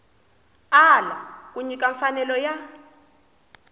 ala ku nyika mfanelo ya